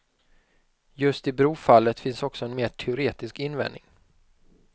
Just i brofallet finns också en mer teoretisk invändning.